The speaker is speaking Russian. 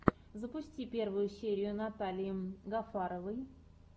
запусти первую серию натальи гафаровой